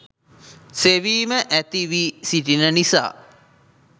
සෙවීම ඇති වී සිටින නිසා